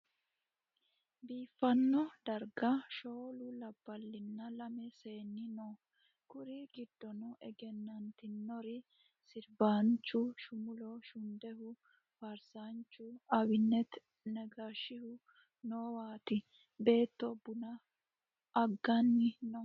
biifano darigga shoolu labbalinna lame seenu noo. Kuri giddono egenanitinori siribbanichu shumulo shuniddehu, faarisaanichu abineti negashihu noowatti beetto buna agganni noo